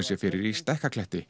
sér fyrir í